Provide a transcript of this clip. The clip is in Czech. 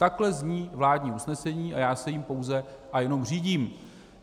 Takhle zní vládní usnesení a já se jím pouze a jenom řídím.